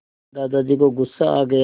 दादाजी को गुस्सा आ गया